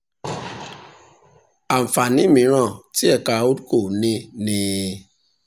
àǹfààní mìíràn tí ẹ̀ka holdco ní ni